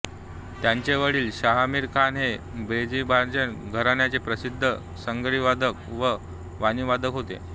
त्यांचे वडील शाहमीर खान हे भेंडीबझार घराण्याचे प्रसिद्ध सारंगीवादक व वीणावादक होते